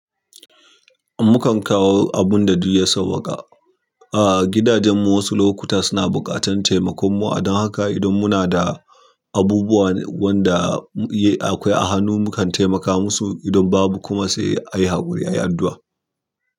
Mukan kawo abun da duk ya sawwaka. A gidajen mu wasu lokuta suna buƙatar taimakon mu. Don haka idan muna da abubuwan wanda akwai a hannu, mukan taimaka musu. Idan babu kuma sai a yi haƙuri, a yi addu'a.